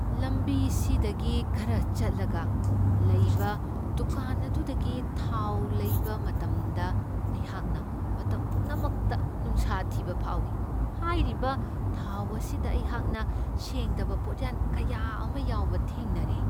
ꯂꯝꯕꯤ ꯁꯤꯗꯒꯤ ꯈꯔ ꯆꯠꯂꯒ ꯂꯩꯕ ꯗꯨꯀꯥꯟ ꯑꯗꯨꯗꯒꯤ ꯊꯥꯎ ꯂꯩꯕ ꯃꯇꯝꯗ ꯑꯩꯍꯥꯛꯅ ꯃꯇꯝ ꯄꯨꯝꯅꯃꯛꯇ ꯅꯨꯡꯁꯥ ꯊꯤꯕ ꯐꯥꯎꯢ ꯫ ꯍꯥꯏꯔꯤꯕ ꯊꯥꯎ ꯑꯁꯤꯗ ꯑꯩꯍꯥꯛꯅ ꯁꯦꯡꯗꯕ ꯄꯣꯠꯌꯥꯟ ꯀꯌꯥ ꯑꯃ ꯌꯥꯎꯕ ꯊꯦꯡꯅꯔꯦ ꯫